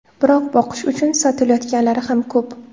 Biroq boqish uchun sotilayotganlari ham ko‘p.